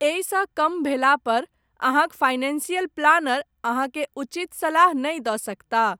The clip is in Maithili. एहिसँ कम भेलापर, अहाँक फाइनेंशियल प्लानर, अहाँकेँ, उचित सलाह नहि दऽ सकताह।